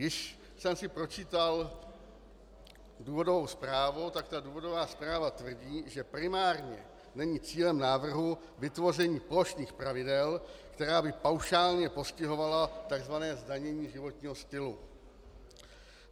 Když jsem si pročítal důvodovou zprávu, tak ta důvodová zpráva tvrdí, že primárně není cílem návrhu vytvoření plošných pravidel, která by paušálně postihovala tzv. zdanění životního stylu.